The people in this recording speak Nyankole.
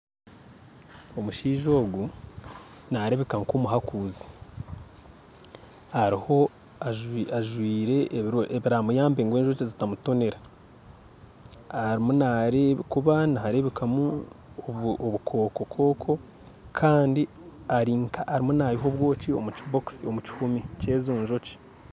Omushaija ogu nareebeka nka omuhaakuzi ajwire ebiramuyambe ngu enjoki zitamutonera arimu nareeba ahakuba nihareebeka kubamu obukooko kooko kandi ari nka arimu naiha obwooki omu kihuumi ky'ezo njoki